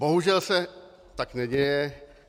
Bohužel se tak neděje.